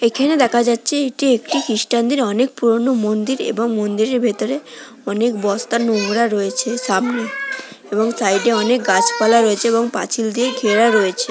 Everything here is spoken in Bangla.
এইখানে দেখা যাচ্ছে এটি একটি খ্রিস্টানদের অনেক পুরনো মন্দির এবং মন্দিরের ভেতরে অনেক বস্তার নোংরা রয়েছে সামনে এবং সাইড -এ অনেক গাছপালা রয়েছে এবং পাঁচিল দিয়ে ঘেরা রয়েছ--